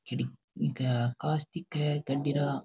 कांच दिखे है गाडी रा --